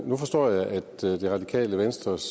nu forstår jeg at det radikale venstres